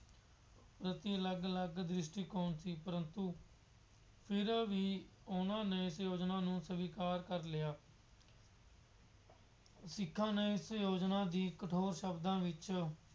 ਪ੍ਰਤੀ ਅਲੱਗ ਅਲੱਗ ਦ੍ਰਿਸ਼ਟੀਕੋਣ ਸੀ। ਪਰੰਤੂ ਫਿਰ ਵੀ ਉਹਨਾ ਨੇ ਇਸ ਯੋਜਨਾ ਨੂੰ ਸਵੀਕਾਰ ਕਰ ਲਿਆ। ਸਿੱਖਾਂ ਨੇ ਇਸ ਯੋਜਨਾ ਦੀ ਕਠੋਰ ਸ਼ਬਦਾਂ ਵਿੱਚ